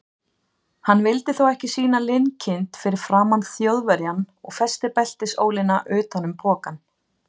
Hann vildi þó ekki sýna linkind fyrir framan Þjóðverjann og festi beltisólina utan um pokann.